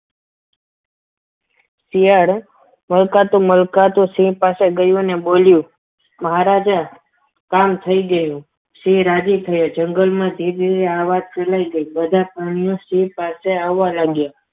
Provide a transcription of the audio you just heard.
શિયાળ મલકાતું મલકાતું સિંહ પાસે ગયું અને બોલ્યું મહારાજા કામ થઈ ગયું સિંહ રાજી થયો જંગલમાં ધીમે ધીમે આ વાત ફેલાઈ ગઈ બધા પ્રાણીઓ સિંહ પાસે આવવા લાગ્યા.